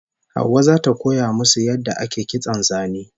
Hauwa zata koya musu yadda ake kitson zane